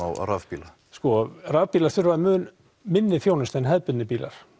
á rafbílum sko rafbílar þurfa mun minni þjónustu en hefðbundnir bílar